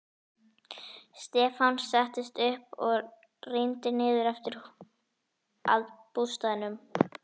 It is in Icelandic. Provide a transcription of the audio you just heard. Stefán settist upp og rýndi niður eftir að bústaðnum.